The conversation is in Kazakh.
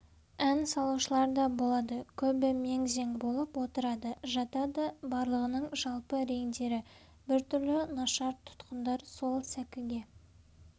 ән салушыларда болады көбі мең-зең болып отырады жатады барлығының жалпы реңдері біртүрлі нашар тұтқындар сол сәкіге